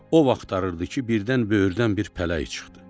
O axtarırdı ki, birdən böyrdən bir pələk çıxdı.